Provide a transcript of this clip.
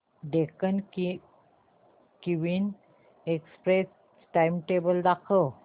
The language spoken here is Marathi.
डेक्कन क्वीन एक्सप्रेस चे टाइमटेबल दाखव